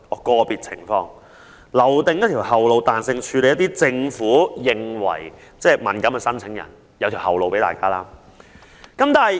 "個別情況"這個說法，為政府留有後路，對其認為敏感的申請人作彈性處理。